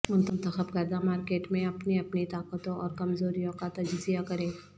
منتخب کردہ مارکیٹ میں اپنی اپنی طاقتوں اور کمزوریوں کا تجزیہ کریں